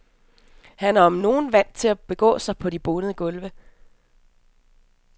Han er om nogen vant til at begå sig på de bonede gulve.